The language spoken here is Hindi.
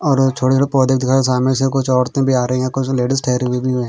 और छोटे छोटे पौधे दिखाए सामने से कुछ औरते भी आ रही हैं कुछ लेडीज ठहरी हुई भी हैं।